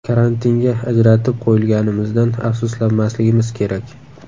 Karantinga ajratib qo‘yilganimizdan afsuslanmasligimiz kerak.